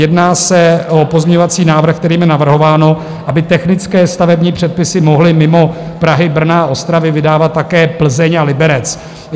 Jedná se o pozměňovací návrh, kterým je navrhováno, aby technické stavební předpisy mohly mimo Prahy, Brna a Ostravy vydávat také Plzeň a Liberec.